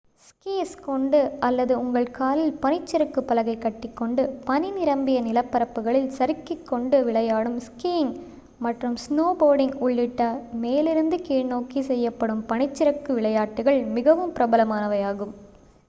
squeeze கொண்டு அல்லது உங்கள் காலில் பனிச்சறுக்கு பலகை கட்டிக்கொண்டு பனி நிரம்பிய நிலப்பரப்புகளில் சறுக்கிக் கொண்டு விளையாடும் ஸ்கீயிங்க் மற்றும் ஸ்னோபோர்டிங்க் உள்ளிட்ட மேலிருந்து கீழ்நோக்கி செய்யப்படும் பனிச்சறுக்கு விளையாட்டுகள் மிகவும் பிரபலமானவையாகும்